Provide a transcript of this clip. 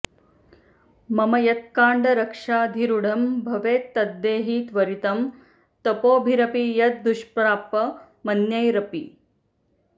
मम यत्काङ्क्षाधिरूढं भवेत् तद्देहि त्वरितं तपोभिरपि यद् दुष्प्रापमन्यैरपि